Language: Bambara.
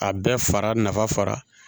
A bɛɛ fara nafa fara